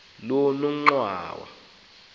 lonongxowa